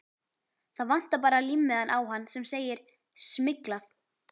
Það vantar bara límmiðann á hann sem segir SMYGLAÐ.